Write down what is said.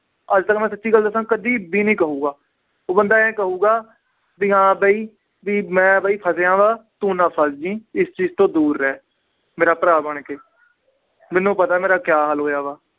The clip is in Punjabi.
ਅੱਜ ਤੱਕ ਮੈਂ ਸੱਚੀ ਗੱਲ ਦੱਸਾਂ ਕਦੇ ਵੀ ਨੀ ਕਹੇਗਾ, ਉਹ ਬੰਦਾ ਇਉਂ ਕਹੇਗਾ ਵੀ ਹਾਂ ਵੀ ਵੀ ਮੈਂ ਬਾਈ ਫਸਿਆ ਵਾਂ, ਤੂੰ ਨਾ ਫਸ ਜਾਈ, ਇਸ ਚੀਜ਼ ਤੋਂ ਦੂਰ ਰਹਿ ਮੇਰਾ ਭਰਾ ਬਣ ਕੇ, ਮੈਨੂੰ ਪਤਾ ਮੇਰਾ ਕਿਆ ਹਾਲ ਹੋਇਆ ਵਾ